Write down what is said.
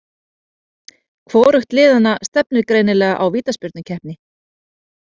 Hvorugt liðanna stefnir greinilega á vítaspyrnukeppni.